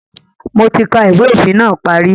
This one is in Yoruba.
Mo ti ka ìwé òfin náà parí